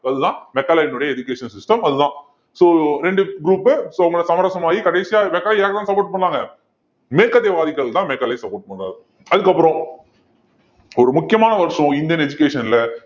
அதுதான் மெக்காலேவினுடைய education system அதுதான் so இரண்டு group so சமரசம் ஆகி கடைசியா மெக்காலே யாருக்குத்தான் support பண்ணாங்க மேற்கத்தியவாதிகள்தான் மெக்காலே support பண்ணுவாரு அதுக்கப்புறம் ஒரு முக்கியமான வருஷம் இந்தியன் education ல